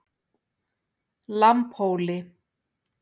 Lambhóli